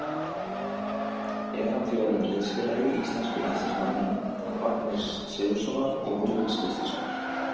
Er hann því orðinn liðsfélagi íslensku landsliðsmannanna Ragnars Sigurðssonar og Rúriks Gíslasonar.